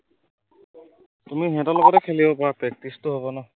তুমিও সিহঁতৰ লগতে খেলি পাৰা practice টো হব ন